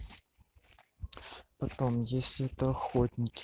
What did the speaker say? потом если это охотники